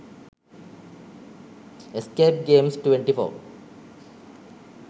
escape games 24